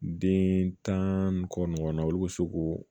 Den tan ni kɔ ɲɔgɔnna olu be se k'o